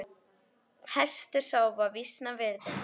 Hestur sá var vísna virði.